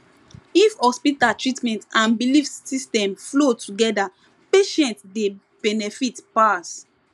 if hospital treatment and belief system flow together patients dey benefit pass